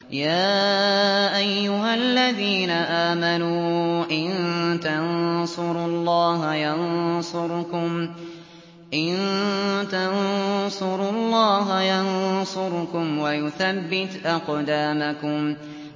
يَا أَيُّهَا الَّذِينَ آمَنُوا إِن تَنصُرُوا اللَّهَ يَنصُرْكُمْ وَيُثَبِّتْ أَقْدَامَكُمْ